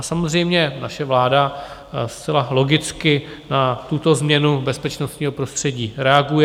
A samozřejmě naše vláda zcela logicky na tuto změnu bezpečnostního prostředí reaguje.